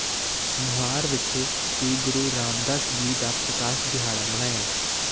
ਮੁਹਾਰ ਵਿਖੇ ਸ੍ਰੀ ਗੁਰੂ ਰਾਮਦਾਸ ਜੀ ਦਾ ਪ੍ਰਕਾਸ਼ ਦਿਹਾੜਾ ਮਨਾਇਆ